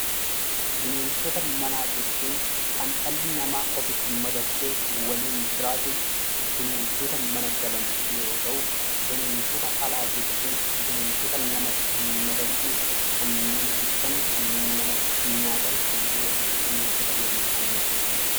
Bineensota manaa jechuun kan dhalli namaa ofitti madaksee waliin jiraatu, bineeldota mana galan yoo ta'u, bineensota alaa jechuun kan namatti hin madaqne kan nama jibban, kan nama nyaatan, kan walii bineensota walii isaanii nyaatanidha.